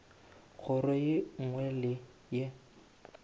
kgoro ye nngwe le ye